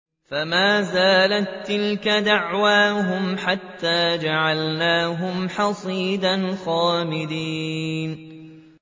فَمَا زَالَت تِّلْكَ دَعْوَاهُمْ حَتَّىٰ جَعَلْنَاهُمْ حَصِيدًا خَامِدِينَ